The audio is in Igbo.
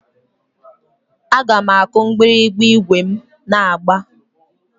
Aga m akụ mgbịrịgba ígwè m na-agba.